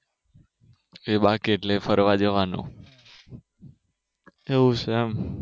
એ બાકી એટલે ફરવા જવાનું એવું છે એમ